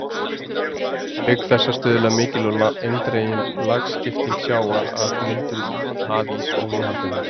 Auk þessa stuðlar mikil og eindregin lagskipting sjávar að myndun hafíss og viðhaldi hans.